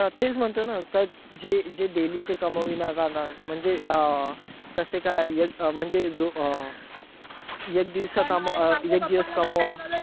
हा तेच म्हणतोय ना, जे daily चे कामविणार राहणार म्हणजे अं कसे काय एक म्हणजे एक म्हणजे जो अं एक दिवसाचे एक दिवस कमवा.